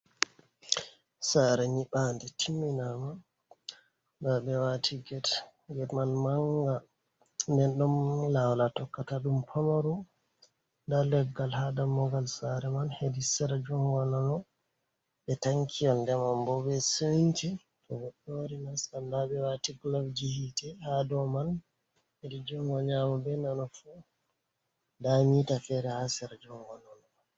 Sare nyibande timminama, nda ɓe wati get man manga, den ɗon lawol a tokkata dum pamaru, nda leggal ha dammugal sare man hedi sera, jungo nano, ɓe tanki yonde man bo, be sanji do sannan ɓe wati gulov ji hite ha dou man, hedi jungo nyamo, be nano fu, damita fere ha sera jungo nano.